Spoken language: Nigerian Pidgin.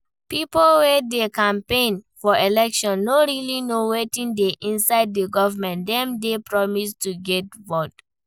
Pipo wey dey campaign for election no really know wetin dey inside di government dem dey promise to get vote